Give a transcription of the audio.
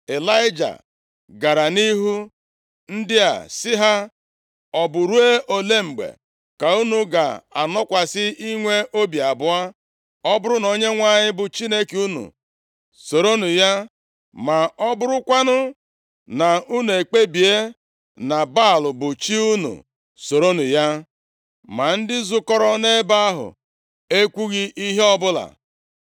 Ịlaịja gara nʼihu ndị a, sị ha, “Ọ bụ ruo ole mgbe ka unu ga-akwụsị inwe obi abụọ? Ọ bụrụ na Onyenwe anyị bụ Chineke unu, soronụ ya! Ma ọ bụrụkwanụ na unu ekpebie na Baal bụ chi unu, soronụ ya.” Ma ndị zukọrọ nʼebe ahụ ekwughị ihe ọbụla.